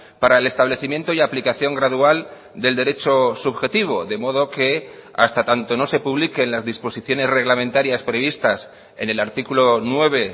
para el establecimiento y aplicación gradual del derecho subjetivo de modo que hasta tanto no se publiquen las disposiciones reglamentarias previstas en el artículo nueve